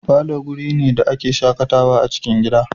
Falo guri ne da a ke shakatawa a cikin gida